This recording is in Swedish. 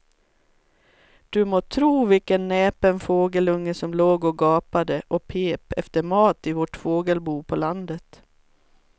Du må tro vilken näpen fågelunge som låg och gapade och pep efter mat i vårt fågelbo på landet.